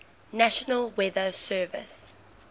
national weather service